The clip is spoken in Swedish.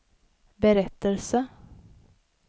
berättelse